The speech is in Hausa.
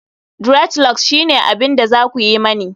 dreadlocks shine abin da za ku yi mani